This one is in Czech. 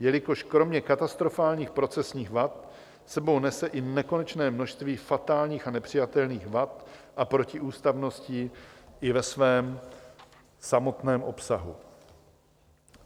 jelikož kromě katastrofálních procesních vad s sebou nese i nekonečné množství fatálních a nepřijatelných vad a protiústavností i ve svém samotném obsahu.